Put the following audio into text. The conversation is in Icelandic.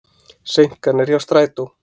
Seinkanir hjá strætó